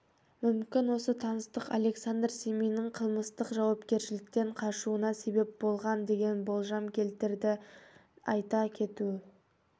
мүмкін осы таныстық александр сминнің қылмыстық жауапкершіліктен қашуына себеп болған деген болжам келтіреді айта кету